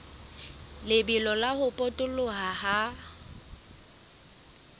lebelo la ho potoloha ha